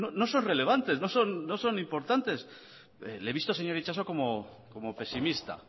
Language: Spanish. no son relevantes no son importantes le he visto señor itxaso como pesimista